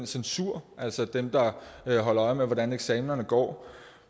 censuren altså dem der holder øje med hvordan eksamenerne går